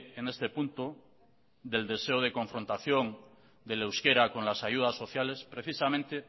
en este punto del deseo de confrontación del euskara con las ayudas sociales precisamente